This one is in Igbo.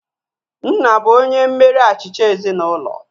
Nna bụ onye mmeri achịcha ezinaụlọ